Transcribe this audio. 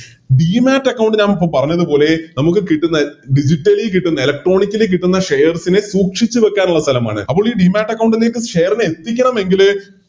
Demat account ഞാനിപ്പോ പറഞ്ഞത് പോലെ നമുക്ക് കിട്ടുന്ന Digitally കിട്ടുന്ന Electronically കിട്ടുന്ന Shares നെ സൂക്ഷിച്ച് വെക്കാനുള്ള സ്ഥലമാണ് അപ്പോളി Demat account ലേക്ക് Share നെ എത്തിക്കണമെങ്കില്